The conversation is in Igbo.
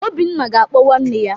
Obinna ga-akpọ nwanne ya.